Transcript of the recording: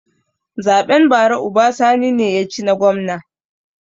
Zaɓen bara uba sani ne ya ci na gwamna